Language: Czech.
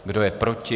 Kdo je proti?